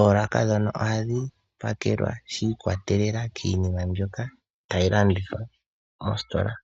Oolaka ndhono ohadhi pakelwa shi ikwatelela kiinima mbyoka tayi landithwa mositola.